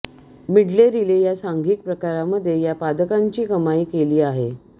medley relay या सांघिक प्रकारामध्ये या पदकांची कामाई केली आहे